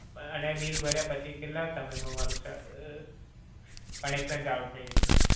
અને bill ભર્યા પછી કેટલા સમય માં મારુ connection ચાલુ થય જસે?